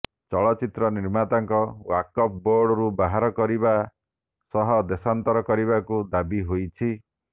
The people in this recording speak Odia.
ଚଳଚିତ୍ର ନିର୍ମାତାଙ୍କୁ ୱାକଫ ବୋର୍ଡରୁ ବାହାର କରିବା ସହ ଦେଶାନ୍ତର କରିବାକୁ ଦାବି ହୋଇଛି